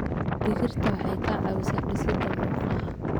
Digirta waxay ka caawisaa dhisida murqaha.